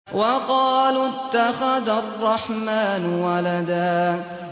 وَقَالُوا اتَّخَذَ الرَّحْمَٰنُ وَلَدًا